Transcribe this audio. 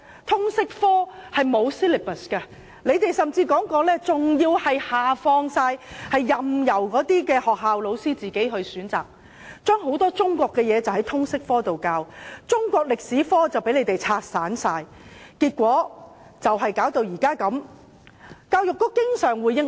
通識科本身沒有 syllabus， 有人甚至提出要完全下放權力，任由學校老師自行選擇，把很多中國的國情在通識科內教授，中史科被完全拆散，結果導致目前的景況。